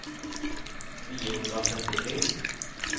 niohundratrettiotre